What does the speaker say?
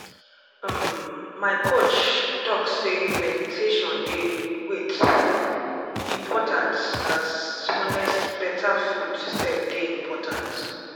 um my coach talk say meditation dey wait! important as honest better food sef dey important.